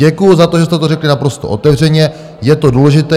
Děkuji za to, že jste to řekli naprosto otevřeně, je to důležité.